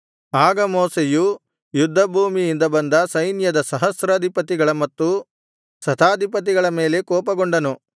ಆಗ ಮೋಶೆಯು ಯುದ್ಧ ಭೂಮಿಯಿಂದ ಬಂದ ಸೈನ್ಯದ ಸಹಸ್ರಾಧಿಪತಿಗಳ ಮತ್ತು ಶತಾಧಿಪತಿಗಳ ಮೇಲೆ ಕೋಪಗೊಂಡನು